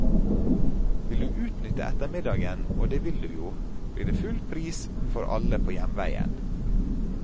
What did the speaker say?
Vil du utnytte ettermiddagen, og det vil du jo, blir det full pris for alle på hjemveien.